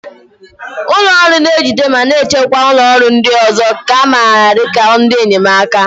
Ụlọ ọrụ na-ejide ma na-achịkwa ụlọ ọrụ ndị ọzọ, nke a maara dị ka ndị enyemaka.